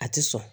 A tɛ sɔn